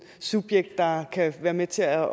subjekt der kan være med til at